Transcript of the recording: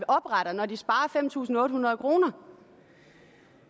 opretter når de sparer fem tusind otte hundrede kroner